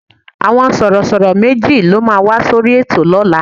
Àwọn Sọ̀rọ̀ṣọ̀rọ̀ méjì ló máa wá sórí ètò lọ́la